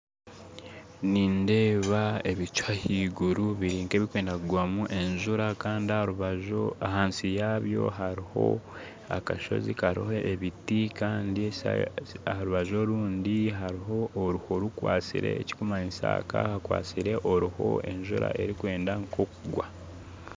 Nindeeba ebicu haiguru biri nk'ebikwenda kugwamu enjura kandi harubaju hansi yabyo hariho akashozi kariho ebiti kandi harubaju orundi hariho oruho rukwasire ekikumanyisa hakaba hakwasire oruho enjura erikwenda kugwa